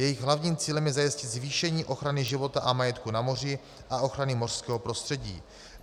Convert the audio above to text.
Jejich hlavním cílem je zajistit zvýšení ochrany života a majetku na moři a ochrany mořského prostředí.